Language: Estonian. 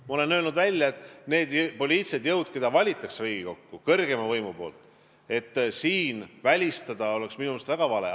Mina olen selgelt välja öelnud, et kui rääkida nendest poliitilistest jõududest, kelle kõrgeim võim Riigikokku valib, siis oleks minu meelest väga vale kedagi välistada.